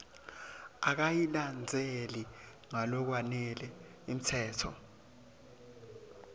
akayilandzeli ngalokwanele imitsetfo